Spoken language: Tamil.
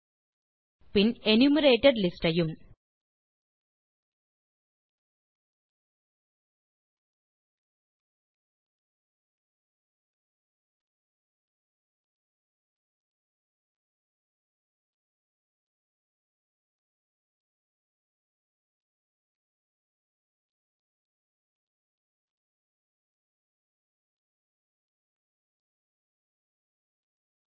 பின் எனுமெரேட்டட் லிஸ்ட் ஐயும்